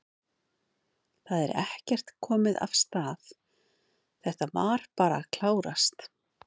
Það er ekkert komið af stað, þetta var bara að klárast?